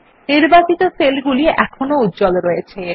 নির্বাচিত সেল গুলি এখনো উজ্জ্বল রয়েছে